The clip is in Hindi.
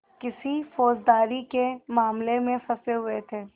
किसी फौजदारी के मामले में फँसे हुए थे